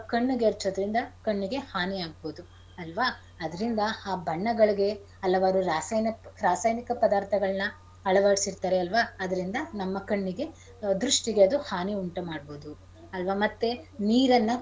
ಕಣ್ಣಿಗ್ ಎರ್ಚೋದ್ರಿಂದ ಕಣ್ಣಿಗೆ ಹಾನಿ ಆಗ್ಬೋದು ಅಲ್ವಾ ಅದ್ರಿಂದ ಆ ಬಣ್ಣಗಳಿಗೆ ಹಲವಾರು ರಾಸಾಯನ~ ರಾಸಾಯನಿಕ ಪದಾರ್ಥಗಳ್ನ ಅಳವಡ್ಸಿರ್ತಾರೆ ಅಲ್ವಾ ಅದ್ರಿಂದ ನಮ್ಮ ಕಣ್ಣಿಗೆ ದೃಷ್ಟಿಗೆ ಅದು ಹಾನಿ ಉಂಟ್ ಮಾಡ್ಬೋದು ಅಲ್ವಾ ಮತ್ತೆ ನೀರನ್ನ.